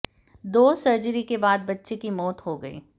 दो सर्जरी के बाद बच्चे की मौत हो गई